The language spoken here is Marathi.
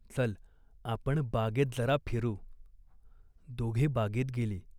चल, आपण बागेत जरा फिरू." दोघे बागेत गेली.